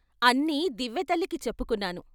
అన్నీ దివ్వెతల్లికి చెప్పుకున్నాను.